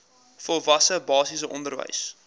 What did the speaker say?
volwasse basiese onderwys